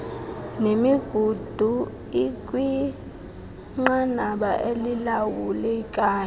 nemigudu ikwinqanaba elilawulekayo